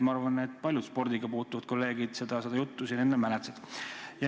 Ma arvan, et paljud spordiga kokkupuutuvad kolleegid seda juttu siin mäletavad.